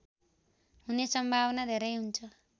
हुने सम्भावना धेरै हुन्छ